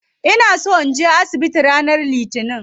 Ina so naje asibiti ranar litinin.